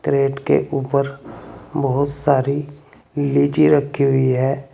Plate के ऊपर बहुत सारी लीची रखी हुई है।